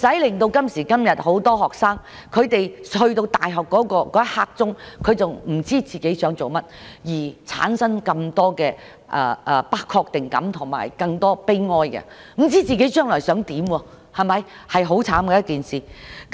現時很多學生將要升讀大學的時候，仍不知道自己想做甚麼，因而產生不確定感和感到悲哀，不知道自己將來想做甚麼是很悽慘的。